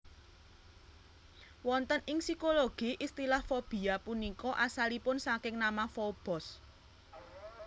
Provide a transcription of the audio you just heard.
Wonten ing psikologi istilah fobia punika asalipun saking nama Fobos